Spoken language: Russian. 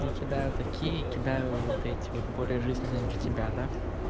не кидают такие кидаю вот эти вот более жизненные для тебя да